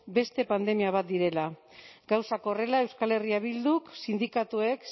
beste pandemia bat direla gauzak horrela euskal herria bilduk sindikatuek